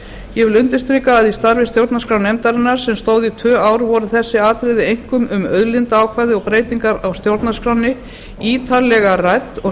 ég undirstrika að í starfi stjórnarskrárnefndarinnar sem stóð í tvö ár voru þessi atriði einkum um auðlindaákvæði og breytingar á stjórnarskránni ítarlega rædd og